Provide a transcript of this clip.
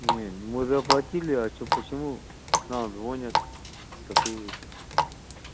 не мы заплатили а что почему нам звонят такие эти